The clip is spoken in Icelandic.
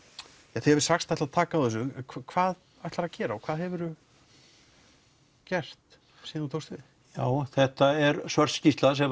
þið hafið sagt ætla að taka á þessu hvað ætlarðu að gera og hvað hefurðu gert síðan þú tókst við já þetta er svört skýrsla sem